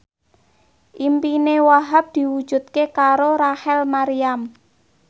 impine Wahhab diwujudke karo Rachel Maryam